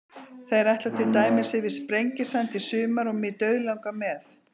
Þeir ætla til dæmis yfir Sprengisand í sumar og mig dauðlangar með.